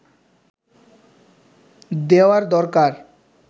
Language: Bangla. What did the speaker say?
দেওয়ার দরকার